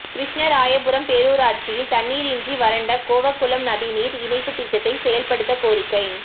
கிருஷ்ணராயபுரம் பேரூராட்சியில் தண்ணீரின்றி வறண்ட கோவக்குளம் நதி நீர் இணைப்பு திட்டத்தை செயல்படுத்த கோரிக்கை